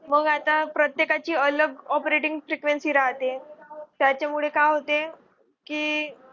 मग आता प्रत्येकाची अलग operating frequency राहते. त्याच्यामुळे काय होते की